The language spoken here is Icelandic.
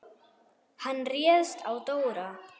Hann réðst á Dóra.